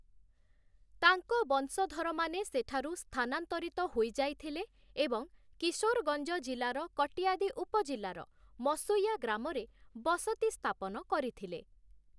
ତାଙ୍କ ବଂଶଧରମାନେ ସେଠାରୁ ସ୍ଥାନାନ୍ତରିତ ହୋଇଯାଇଥିଲେ ଏବଂ କିଶୋରଗଞ୍ଜ ଜିଲ୍ଲାର କଟିୟାଦି ଉପଜିଲ୍ଲାର ମସୁୟା ଗ୍ରାମରେ ବସତି ସ୍ଥାପନ କରିଥିଲେ ।